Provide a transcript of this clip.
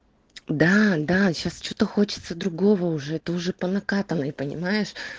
да-да сейчас что-то хочется другого уже это уже по накатанной понимаешь